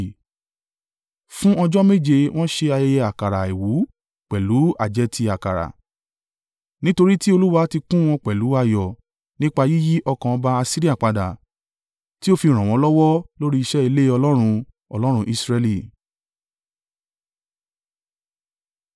Fún ọjọ́ méje, wọ́n ṣe ayẹyẹ àkàrà àìwú pẹ̀lú àjẹtì àkàrà. Nítorí tí Olúwa ti kún wọn pẹ̀lú ayọ̀ nípa yíyí ọkàn ọba Asiria padà, tí ó fi ràn wọ́n lọ́wọ́ lórí iṣẹ́ ilé Ọlọ́run, Ọlọ́run Israẹli.